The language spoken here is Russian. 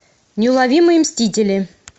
неуловимые мстители